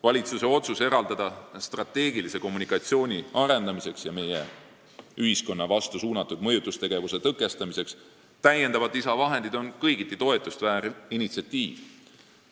Valitsuse otsus eraldada lisavahendeid strateegilise kommunikatsiooni arendamiseks ja meie ühiskonna vastu suunatud mõjutustegevuse tõkestamiseks on kõigiti toetust vääriv initsiatiiv.